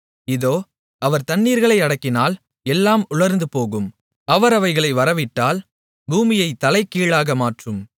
இதோ அவர் தண்ணீர்களை அடக்கினால் எல்லாம் உலர்ந்துபோகும் அவர் அவைகளை வரவிட்டால் பூமியைத் தலைகீழாக மாற்றும்